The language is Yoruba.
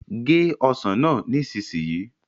gé ọsán náà nísìsiyìí